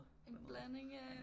En blanding af